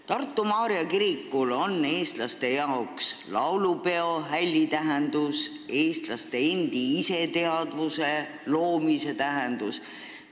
Tartu Maarja kirikul on eestlaste jaoks laulupeohälli tähendus, eestlaste endi iseteadvuse loomise tähendus.